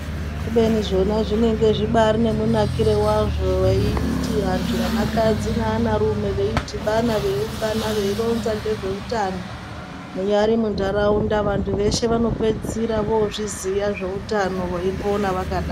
Kubeni zvona zvinenge zvibaari nemunakiro wazvo veiti vantu anakadzi neanarume veidhibana, veiungana, veironza ngezveutano, munyari muntaraunda vantu veshe vanopedzisira vozviziya zveutano veipona vakadaro.